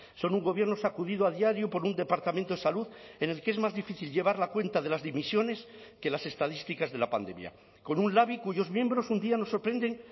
son un gobierno sacudido a diario por un departamento de salud en el que es más difícil llevar la cuenta de las dimisiones que las estadísticas de la pandemia con un labi cuyos miembros un día nos sorprenden